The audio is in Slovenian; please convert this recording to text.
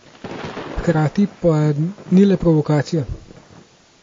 Hkrati pa ni le provokacija.